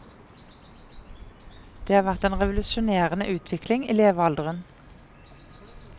Det har vært en revolusjonerende utvikling i levealderen.